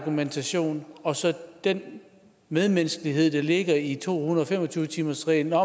argumentation og så den medmenneskelighed der ligger i to hundrede og fem og tyve timersreglen